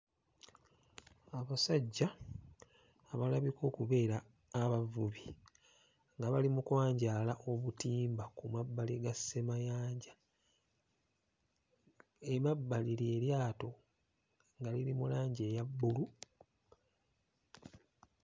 Abasajja abalabika okubeera abavubi nga bali mu kwanjaala obutimba ku mabbali ga ssemayanja, emabbali lye lyato nga liri mu langi eya bbulu.